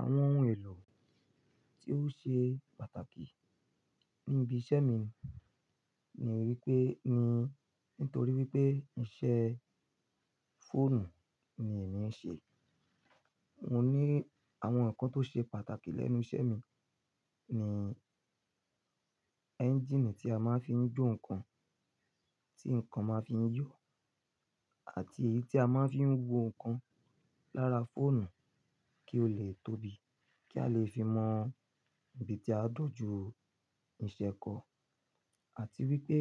Àwọn ohun èlò tí ó ṣe pàtàkì níbi iṣẹ́ mi ni wípé mi nítorí wípé iṣẹ́ fóònù ni èmi ń ṣe. Mo ní àwọn ǹkan tó ṣe pàtàkì lẹ́nu iṣẹ́ mi ni ẹ́ńjíìnì tí a máa ń fi ń jó ǹkan, tí ǹkan máa ń fi ń yọ àti èyí tí a máa ń fi ń wo ǹkan lára fóònù kí ó le tóbi, kí a lè fi mọ ibi tí a dọ̀jú ìṣẹ́ ko. Àti wípé